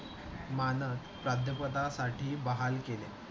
मानद प्राध्यापकासाठी बहाल केल्या.